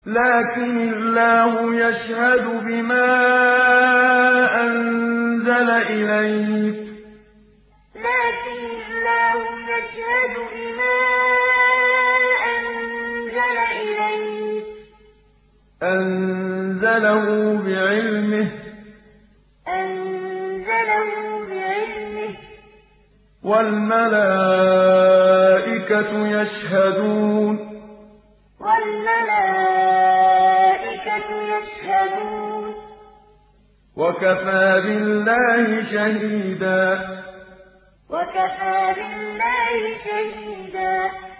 لَّٰكِنِ اللَّهُ يَشْهَدُ بِمَا أَنزَلَ إِلَيْكَ ۖ أَنزَلَهُ بِعِلْمِهِ ۖ وَالْمَلَائِكَةُ يَشْهَدُونَ ۚ وَكَفَىٰ بِاللَّهِ شَهِيدًا لَّٰكِنِ اللَّهُ يَشْهَدُ بِمَا أَنزَلَ إِلَيْكَ ۖ أَنزَلَهُ بِعِلْمِهِ ۖ وَالْمَلَائِكَةُ يَشْهَدُونَ ۚ وَكَفَىٰ بِاللَّهِ شَهِيدًا